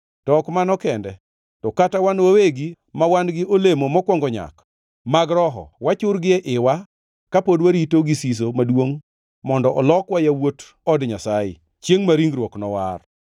To ok mano kende, to kata wan wawegi ma wan gi olemo mokwongo nyak mag Roho, wachur gie iwa ka pod warito gi siso maduongʼ mondo olokwa yawuot od Nyasaye, chiengʼ ma ringruok nowar.